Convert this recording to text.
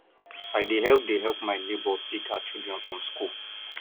i dey help dey help my nebor pick her children from skool